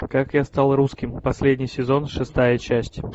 как я стал русским последний сезон шестая часть